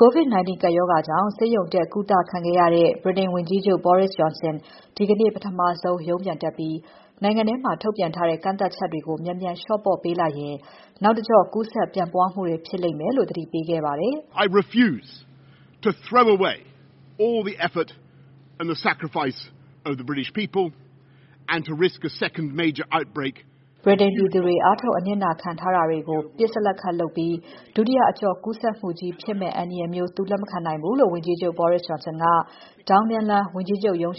COVID-19 ကပ်ရောဂါကြောင့် ဆေးရုံတက်ကုသခဲ့ရတဲ့ ဗြိတိန်ဝန်ကြီးချုပ် Boris Johnson ဒီကနေ့ ပထမဆုံး ရုံးပြန်တက်ပြီး နိုင်ငံထဲမှာ ထုတ်ပြန်ထားတဲ့ ကန့်သတ်ချက်တွေကို မြန်မြန် လျှော့ပေါ့ပေးလိုက်ရင် နောက်တကျော့ ကူးစက်ပျံ့နှံ့မှုတွေဖြစ်လိမ့်မယ်လို့သတိပေးခဲ့ပါတယ်။ ဗြိတိန်ပြည်သူတွေ အားထုတ် အနစ်နာခံထားတာတွေကို ပစ်စလက်ခတ်လုပ်ပြီး ဒုတိယအကျော့ ကူးစက်မှုကြီးဖြစ်မယ့် အန္တရာယ်မျိုး သူလက်မခံနိုင်ဘူးလို့ ဝန်ကြီးချုပ် Boris Johnson က Downing လမ်း နေအိမ်